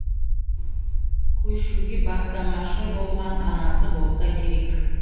көшуге бастамашы болған анасы болса керек